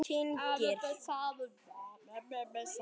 Hún fellur á gólfið.